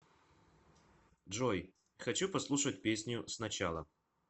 джой хочу послушать песню сначала